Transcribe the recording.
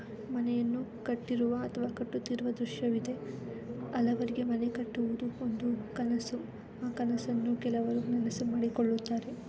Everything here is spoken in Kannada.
ಮನೆಯನ್ನು ಕಟ್ಟಿರುವ ಅಥವಾ ಕಟ್ಟುತಿರುವ ದೃಶ್ಯವಿದೆ ಹಲವರಿಗೆ ಮನೆ ಕಟ್ಟುವುದು ಒಂದು ಕನಸು ಆ ಕನಸನ್ನು ಕೆಲವರು ನನಸು ಮಾಡಿಕೊಳುತ್ತಾರೆ .